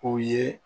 O ye